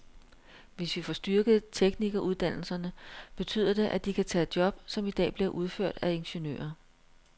Hvis vi får styrket teknikeruddannelserne, betyder det, at de kan tage job, som i dag bliver udført af ingeniører.